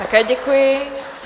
Také děkuji.